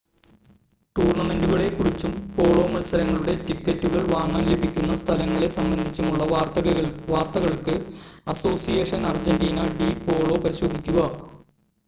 ടൂർണ്ണമെൻ്റുകളെ കുറിച്ചും പോളോ മത്സരങ്ങളുടെ ടിക്കറ്റുകൾ വാങ്ങാൻ ലഭിക്കുന്ന സ്ഥലങ്ങളെ സംബന്ധിച്ചുമുള്ള വാർത്തകൾക്ക് അസോസിയേഷൻ അർജൻ്റീന ഡി പോളോ പരിശോധിക്കുക